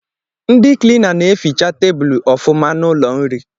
Ndị kilina na-eficha tabulu ọfụma n’ụlọ nri